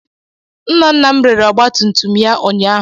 Nna nna m rere ọgbatumtum ya ụnyaahụ.